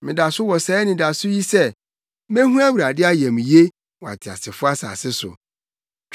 Meda so wɔ saa anidaso yi sɛ: mehu Awurade ayamye wɔ ateasefo asase so.